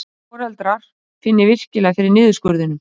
Foreldrar finni virkilega fyrir niðurskurðinum